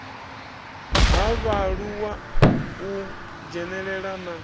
ha vhaaluwa u dzhenelela na